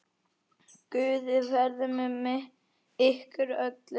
Guð veri með ykkur öllum.